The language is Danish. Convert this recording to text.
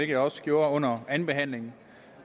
jeg også gjorde under andenbehandlingen